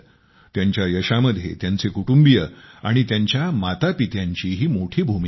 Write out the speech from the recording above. त्यांच्या यशामध्ये त्यांचे कुटुंबिय आणि त्यांच्या मातापित्यांचीही मोठी भूमिका आहे